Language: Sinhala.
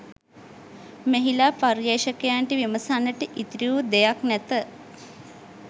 මෙහිලා පර්යේෂකයන්ට විමසන්නට ඉතිරි වූ දෙයක් නැත